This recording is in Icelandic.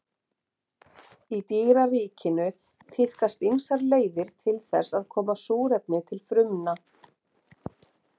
Í dýraríkinu tíðkast ýmsar leiðir til þess að koma súrefni til frumna.